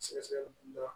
Sɛgɛsɛgɛli dɔ